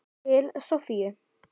Til Soffíu.